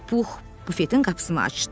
Pux bufetin qapısını açdı.